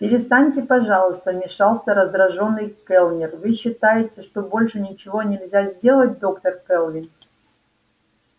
перестаньте пожалуйста вмешался раздражённый кэллнер вы считаете что больше ничего нельзя сделать доктор кэлвин